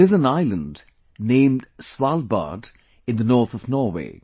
There is an island named Svalbard in the north of Norway